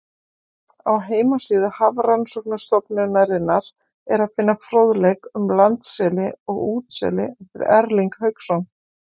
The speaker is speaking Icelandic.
Á heimasíðu Hafrannsóknastofnunarinnar er að finna fróðleik um landseli og útseli eftir Erling Hauksson.